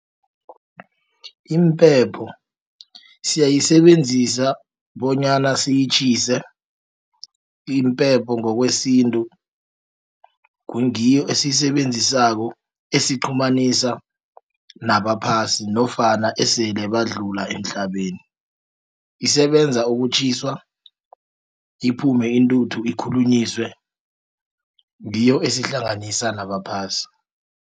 Impepho siyayisebenzisa bonyana siyitjhise, impepho ngokwesintu, ngiyo esiyisebenzisako esiqhumanisa nabaphasi, nofana esele badlula emhlabeni. Isebenza ukutjhiswa, iphume intuthu ikhulunyiswe, ngiyo esihlanganisa nabaphasi.